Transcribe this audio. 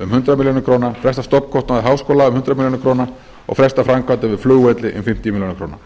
um hundrað milljónir króna fresta stofnkostnaði háskóla um hundrað milljónir króna og fresta framkvæmdum við flugvelli um fimmtíu milljónir króna